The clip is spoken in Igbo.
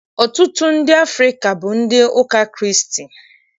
Ọtụtụ ndị Afrịka bụ ndị ụka Kraịst